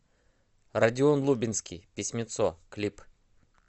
родион лубенский письмецо клип